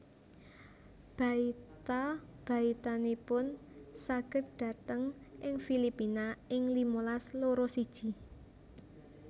Baita baitanipun saged dhateng ing Filipina ing limalas loro siji